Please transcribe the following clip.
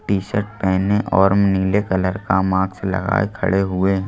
T-shirt पहने और नीले कलर का मार्क्स लगाए खड़े हुए--